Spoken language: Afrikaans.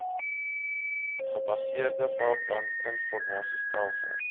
gebaseerde veldbrand informasiestelsel